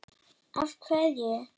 Af hverju?